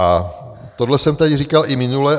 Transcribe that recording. A tohle jsem tady říkal i minule.